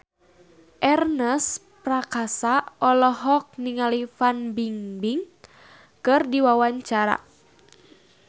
Ernest Prakasa olohok ningali Fan Bingbing keur diwawancara